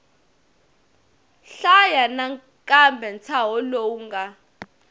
hlaya nakambe ntshaho lowu nga